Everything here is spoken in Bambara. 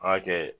An ka kɛ